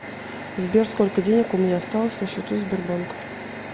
сбер сколько денег у меня осталось на счету сбербанк